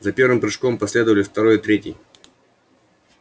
за первым прыжком последовали второй и третий